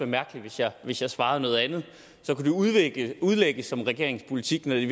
mærkeligt hvis jeg svarede noget andet så kunne det udlægges udlægges som regeringens politik når det